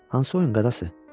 Hansı oyun qadası?